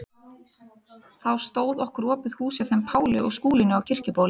Þá stóð okkur opið hús hjá þeim Páli og Skúlínu á Kirkjubóli.